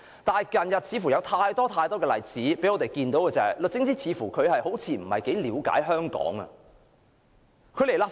不過，最近有很多例子讓我們看到，律政司司長似乎並不了解香港的情況。